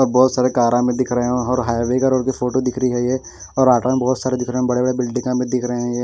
बहुत सारे कार हमे दिख रहे हैं और हाइवे का रोड की फोटो दिख रही है ये बहोत सारे दिख रहे बड़े बड़े बिल्डिंगे भी दिख रहे ये--